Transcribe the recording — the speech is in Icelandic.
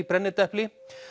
brennidepli